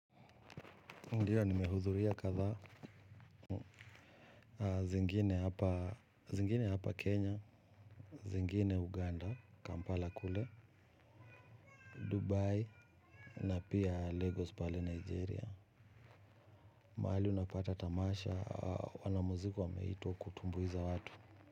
Ndiyo nimehudhuria kadhaa. Zingine hapa Kenya, zingine Uganda, Kampala kule, Dubai, na pia Lagos pale Nigeria. Mahali unapata tamasha, wanamuziki wameitwa kutumbuiza watu.